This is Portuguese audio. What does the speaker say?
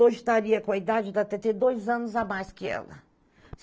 Hoje estaria com a idade da Tetê, dois anos a mais que ela.